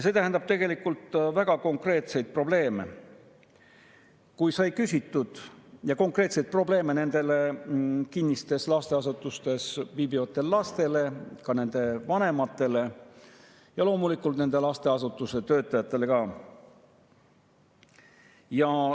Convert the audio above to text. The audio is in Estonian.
See tähendab tegelikult väga konkreetseid probleeme, ja konkreetseid probleeme just nendele kinnistes lasteasutustes viibivatele lastele, samuti nende vanematele ja loomulikult nende lasteasutuste töötajatele.